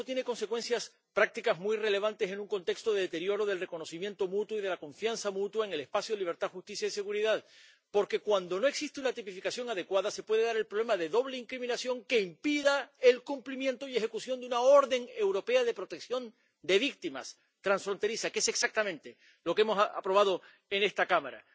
Y eso tiene consecuencias prácticas muy relevantes en un contexto de deterioro del reconocimiento mutuo y de la confianza mutua en el espacio de libertad, justicia y seguridad, porque, cuando no existe una tipificación adecuada, se puede dar el problema de doble incriminación que impida el cumplimiento y la ejecución de una orden europea de protección de víctimas transfronteriza, que es exactamente lo que hemos aprobado en esta Cámara.